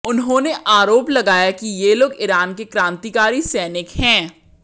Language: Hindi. उन्होंने आरोप लगाया कि ये लोग ईरान के क्रांतिकारी सैनिक हैं